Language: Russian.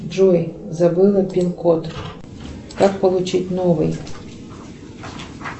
джой забыла пин код как получить новый